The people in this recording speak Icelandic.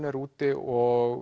er úti og